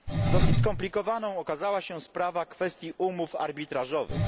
Dosyć skomplikowaną okazała się sprawa kwestii umów arbitrażowych.